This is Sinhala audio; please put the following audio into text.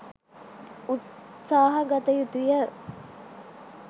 උත්සාහ ගත යුතු ය.